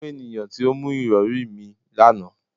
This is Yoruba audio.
Mu eniyan ti o mu irọri mi, lana